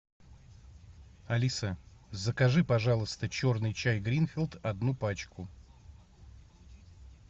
алиса закажи пожалуйста черный чай гринфилд одну пачку